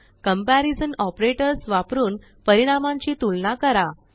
comparison operators वापरून परिणामांची तुलना करा